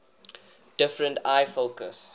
different eye focus